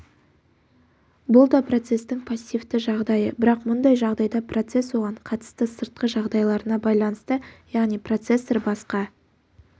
бұл да процестің пассивті жағдайы бірақ мұндай жағдайда процесс оған қатысты сыртқы жағдайларына байланысты яғни процессор басқа